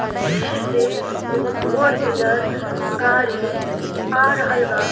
आ पीछे से एगो फोर व्हीलर गाड़ी आ रहल बा।